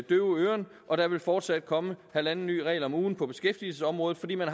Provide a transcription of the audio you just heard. døve øren og der vil fortsat komme halvanden ny regel om ugen på beskæftigelsesområdet fordi man